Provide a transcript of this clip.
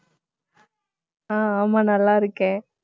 ஆஹ் ஆமா, நல்லா இருக்கேன்